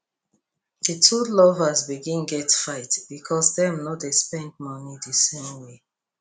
the two lovers begin get fight because dem no dey spend money the same way